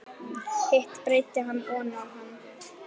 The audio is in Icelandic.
Hitt breiddi hann oná hann.